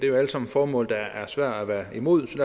jo alle sammen formål der er svære at være imod